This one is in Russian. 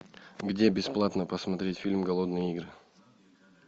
где бесплатно посмотреть фильм голодные игры